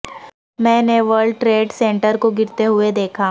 میں نے World Trade Center کو گرتے ہوئے دیکھا